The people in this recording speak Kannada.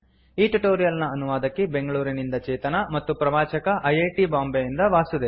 ಈ ಟ್ಯುಟೋರಿಯಲ್ ನ ಅನುವಾದಕಿ ಬೆಂಗಳೂರಿನಿಂದ ಚೇತನಾ ಮತ್ತು ಪ್ರವಾಚಕ ಐ ಐ ಟಿ ಬಾಂಬೆಯಿಂದ ವಾಸುದೇವ